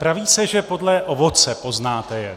Praví se, že podle ovoce poznáte je.